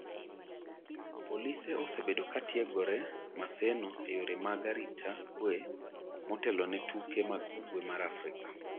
polise osebedo ka tiegore Maseno e yore mag arita kwe motelo ne tuke mag ugwe mar Afrika